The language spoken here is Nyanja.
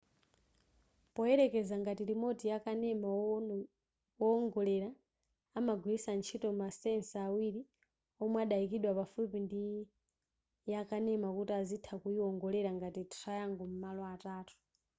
poyerekeza ngati remote ya kanema wowongolera amagwiritsa ntchito masensa awiri omwe adayikidwa pafupi ndi yakanema kuti azitha kuyiwongolera ngati triangle m'malo atatu